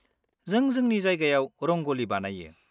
जों जोंनि जायगायाव रंग'लि बानायो।